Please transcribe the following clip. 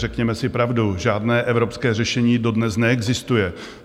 Řekněme si pravdu, žádné evropské řešení dodnes neexistuje.